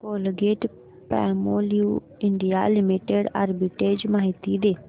Colgate Palmolive India limited arbitrage माहिती दे